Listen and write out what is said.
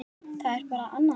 Það er bara annað mál.